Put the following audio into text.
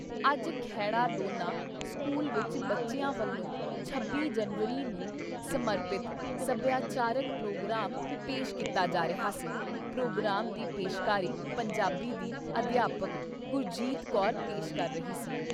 ਅੱਜ ਖੈੜਾ ਦੋਨਾਂ ਸਕੂਲ ਵਿੱਚ ਬੱਚਿਆਂ ਵੱਲੋਂ ਛੱਬੀ ਜਨਵਰੀ ਨੂੰ ਸਮਰਪਿਤ ਸੱਭਿਆਚਾਰਿਕ ਪ੍ਰੋਗਰਾਮ ਪੇਸ਼ ਕੀਤਾ ਜਾ ਰਿਹਾ ਸੀ ਪ੍ਰੋਗਰਾਮ ਦੀ ਪੇਸ਼ਕਾਰੀ ਪੰਜਾਬੀ ਦੀ - ਅਧਿਆਪਕ ਗੁਰਜੀਤ ਕੌਰ ਪੇਸ਼ ਕਰ ਰਹੀ ਸੀ।